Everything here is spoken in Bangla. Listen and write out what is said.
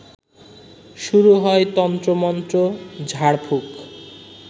শুরু হয় তন্ত্রমন্ত্র, ঝাড়ফুঁক